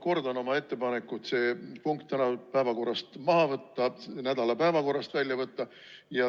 Ma kordan oma ettepanekut see punkt tänasest päevakorrast ja selle nädala päevakorrast välja võtta.